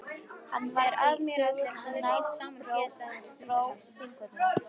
Hann varð því þögulli sem nær dró Þingvöllum.